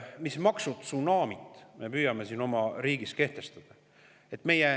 Mis maksutsunamit me püüame oma riigis kehtestada?